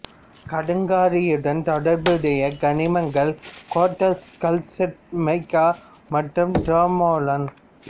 கடுங்கரியுடன் தொடர்புடைய கனிமங்கள் quartz calcite mica மற்றும் டர்மோலைன்